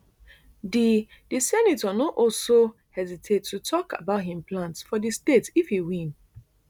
di di senator no also hesitate to tok about im plans for di state if e win